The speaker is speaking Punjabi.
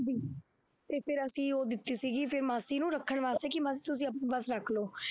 ਅਤੇ ਫਿਰ ਅਸੀਂ ਉਹ ਦਿੱਤੀ ਸੀਗੀ ਫੇਰ ਮਾਸੀ ਨੂੰ ਰੱਖਣ ਵਾਸਤੇ ਕਿ ਮਾਸੀ ਤੁਸੀਂ ਆਪੇ ਬਸ ਰੱਖ ਲਉ।